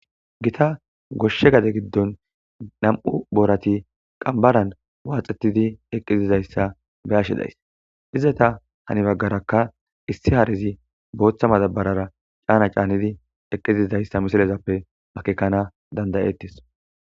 gita goshshe gade giddon nam7u boorati qambaran waaxetidi eqqizizayssa beyashi days izata hani baggarakka issi haarizi booththa madabarara caana caanidi eqqizizayssa misilezappe akekana dandayettis